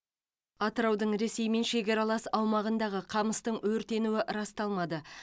атыраудың ресеймен шекаралас аумағындағы қамыстың өртенуі расталмады